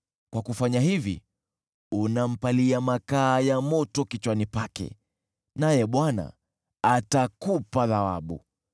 Kwa kufanya hivyo, unaweka makaa ya moto yanayowaka kichwani pake, naye Bwana atakupa thawabu.